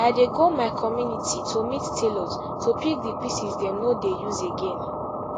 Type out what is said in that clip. i dey go to my community to meet tailors to pick di pieces dem no dey use again